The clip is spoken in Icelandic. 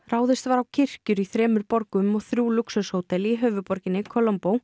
ráðist var á kirkjur í þremur borgum og þrjú lúxushótel í höfuðborginni